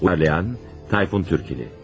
Uyarlayan: Tayfun Türkili.